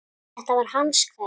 Þetta var hans kveðja.